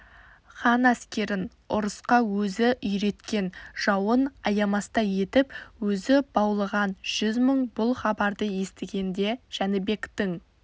хан әскерін ұрысқа өзі үйреткен жауын аямастай етіп өзі баулыған жүз мың бұл хабарды естігенде жәнібектің